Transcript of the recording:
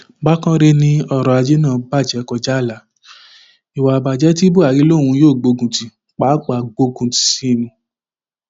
bákanrẹ ni ọrọajé náà bàjẹ kọjá ààlà ìwà ìbàjẹ ti buhari lòun yóò gbógun tì pàápàá gbòkun sí i ni